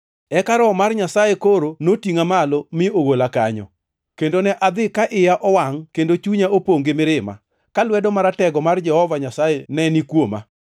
Eka Roho mar Nyasaye koro notingʼa malo mi ogola kanyo, kendo ne adhi ka iya owangʼ kendo chunya opongʼ gi mirima, ka lwedo maratego mar Jehova Nyasaye ne ni kuoma.